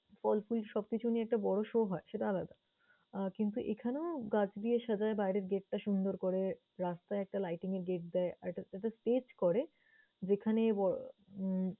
ফল, ফুল সবকিছু নেই একটা বোরো show হয় সেটা আলাদা আহ কিন্তু এখানে গাছ দিয়ে সাজায় বাইরের gait টা সুন্দর করে, রাস্তায় একটা lighting এর gait দেয়, আর একটা একটা stage করে যেখানে আহ